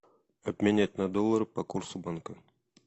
обменять на доллары по курсу банка